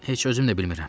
Heç özüm də bilmirəm.